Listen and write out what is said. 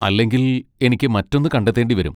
അല്ലെങ്കിൽ, എനിക്ക് മറ്റൊന്ന് കണ്ടെത്തേണ്ടിവരും.